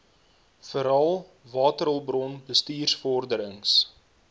verhaal waterhulpbron bestuursvorderings